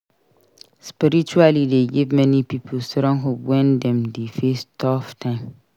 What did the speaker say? Spirituality dey give many pipo strong hope wen dem dey face tough times.